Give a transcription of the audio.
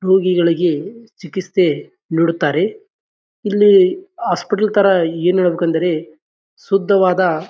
ರೋಗಿಗಳಿಗೆ ಚಿಕಿತ್ಸೆ ನೀಡುತ್ತಾರೆ. ಇಲ್ಲಿ ಹಾಸ್ಪಿಟಲ್ ತರ ಏನು ಹೇಳಬೇಕೆಂದರೆ ಶುದ್ಧವಾದ--